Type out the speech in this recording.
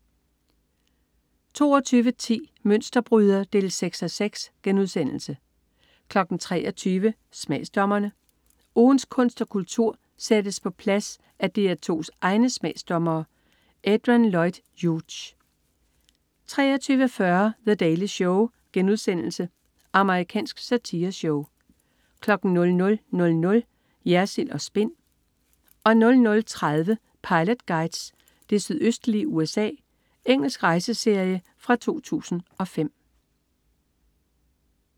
22.10 Mønsterbryder 6:6* 23.00 Smagsdommerne. Ugens kunst og kultur sættes på plads af DR2's egne smagsdommere. Adrian Lloyd Hughes 23.40 The Daily Show.* Amerikansk satireshow 00.00 Jersild & Spin 00.30 Pilot Guides: Det sydøstlige USA. Engelsk rejseserie fra 2005